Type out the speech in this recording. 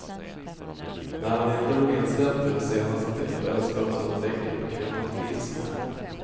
När han inte blev insläppt vid det senaste tillfället skar han sönder däcken på kvinnans bil som hämnd.